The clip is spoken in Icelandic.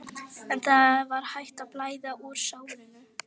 En það var hætt að blæða úr sárinu.